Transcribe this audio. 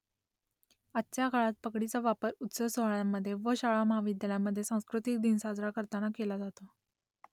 आजच्या काळात पगडीचा वापर उत्सव सोहळ्यांमध्ये व शाळा महाविद्यालयांमध्ये सांस्कृतिक दिन साजरा करताना केला जातो